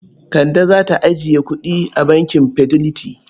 Kande za ta je ajiye kuɗi a bankin Fidelity.